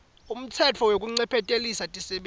ngumtsetfo wekuncephetelisa tisebenti